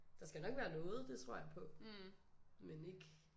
Der skal nok være noget det tror jeg på men ikke